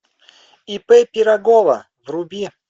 ип пирогова вруби